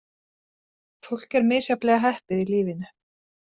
Fólk er misjafnlega heppið í lífinu.